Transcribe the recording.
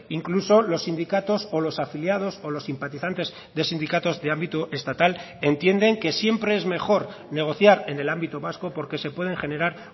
incluso los sindicatos o los afiliados o los simpatizantes de sindicatos de ámbito estatal entienden que siempre es mejor negociar en el ámbito vasco porque se pueden generar